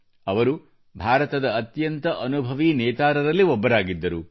ಅವರು ಭಾರತದ ಅತ್ಯಂತ ಅನುಭವಿ ನೇತಾರರಲ್ಲಿ ಒಬ್ಬರಾಗಿದ್ದರು